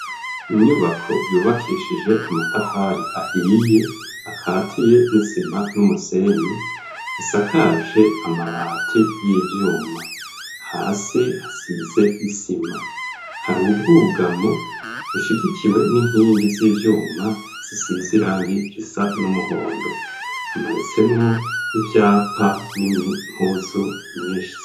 Inyubako yubakishije amatafari ahiye akatiye n'isima n'umusenyi, isakaje amabati y'ivyuma, hasi hasize isima, hari ubwugamo bushigikiwe n'inkingi z'ivyuma zisize irangi risa n'umuhondo, hamanitsemwo ivyapa n'impuzu nyinshi.